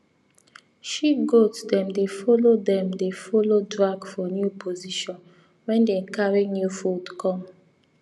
she goats dem dey follow dem dey follow drag for new position when dem carry new food come